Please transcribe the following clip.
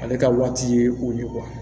Ale ka waati ye u ye